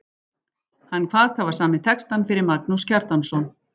Hann kvaðst hafa samið textann fyrir Magnús Kjartansson.